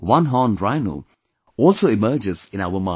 one horn rhino also emerges in our mind